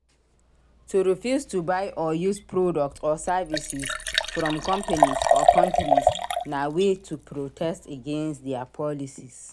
To refuse to buy or use products or services from companies or countries na way to protest against their policies